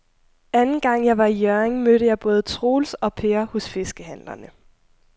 Anden gang jeg var i Hjørring, mødte jeg både Troels og Per hos fiskehandlerne.